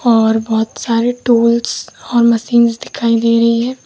और बहोत सारे टूल्स और मशीन्स दिखाई दे रही हैं।